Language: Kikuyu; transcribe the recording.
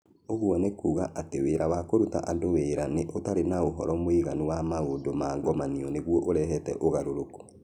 Ũguo nĩ kuuga atĩ wĩra wa kũruta andũ wĩra nĩ ũtarĩ na ũhoro mũiganu wa maũndũ ma ngomanio nĩguo ũrehe ũgarũrũku.